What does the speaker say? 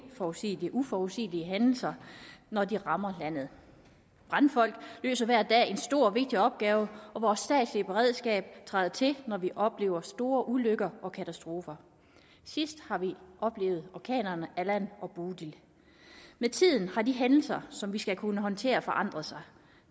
uforudsigelige uforudsigelige hændelser når de rammer landet brandfolk løser hver dag en stor og vigtig opgave og vores statslige beredskab træder til når vi oplever store ulykker og katastrofer sidst har vi oplevet orkanerne allan og bodil med tiden har de hændelser som vi skal kunne håndtere forandret sig